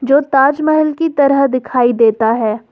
जो ताजमहल की तरह दिखाई देता है।